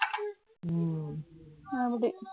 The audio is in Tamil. ம், அப்படி